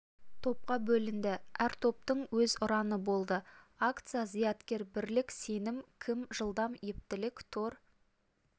топқа бөлінді әр топтың өз ұраны болды акция зияткер бірлік сенім кім жылдам ептілік тор